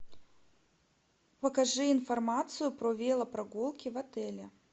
покажи информацию про велопрогулки в отеле